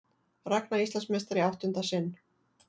Ragna Íslandsmeistari í áttunda sinn